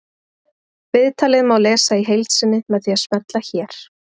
Viðtalið má lesa í heild sinni með því að smella hér